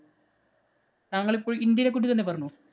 താങ്കളിപ്പോള്‍ ഇന്‍ഡ്യേനെ പറ്റി തന്നെ പറഞ്ഞോ.